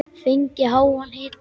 Fengið háan hita.